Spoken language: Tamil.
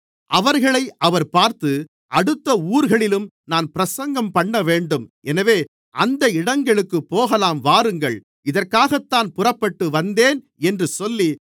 அவர்களை அவர் பார்த்து அடுத்த ஊர்களிலும் நான் பிரசங்கம் பண்ணவேண்டும் எனவே அந்த இடங்களுக்குப் போகலாம் வாருங்கள் இதற்காகத்தான் புறப்பட்டுவந்தேன் என்று சொல்லி